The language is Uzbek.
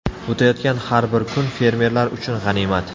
O‘tayotgan har bir kun fermerlar uchun g‘animat.